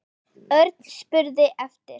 Örn spurði eftir